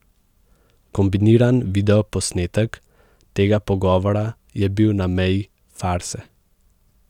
Kombiniran video posnetek tega pogovora je bil na meji farse.